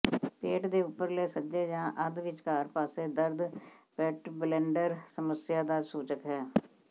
ਪੇਟ ਦੇ ਉਪਰਲੇ ਸੱਜੇ ਜਾਂ ਅੱਧ ਵਿਚਕਾਰ ਪਾਸੇ ਦਰਦ ਪੈਟਬਲੇਡਰ ਸਮੱਸਿਆ ਦਾ ਸੂਚਕ ਹੈ